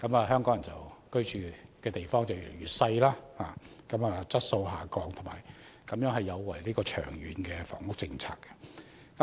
香港人居所的面積越來越小，居住質素不斷下降，有違長遠房屋政策的目標。